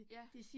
Ja